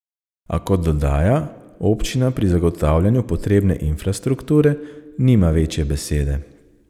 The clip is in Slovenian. A kot dodaja, občina pri zagotavljanju potrebne infrastrukture nima večje besede.